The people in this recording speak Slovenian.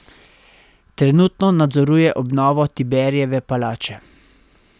Trenutno nadzoruje obnovo Tiberijeve palače.